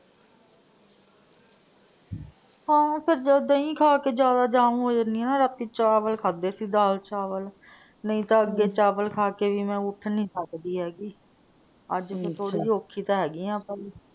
ਆਹੋ ਜਦੋਂ ਦਹੀਂ ਖਾ ਕੇ ਜਿਆਦਾ ਜਾਮ ਹੋ ਜਾਨੀ ਆ ਨਾ, ਰਾਤੀ ਚਾਵਲ ਖਾਦੇ ਸੀ ਦਾਲ ਚਾਵਲ। ਨਹੀਂ ਤਾਂ ਅੱਗੇ ਚਾਵਲ ਖਾ ਕੇ ਵੀ ਮੈਂ ਉੱਠ ਨੀ ਸਕਦੀ ਹੇਗੀ। ਅੱਜ ਨੀ . ਥੋੜੀ ਜਹੀ ਔਖੀ ਤਾਂ ਹੇਗੀ ਆਂ ਪਰ,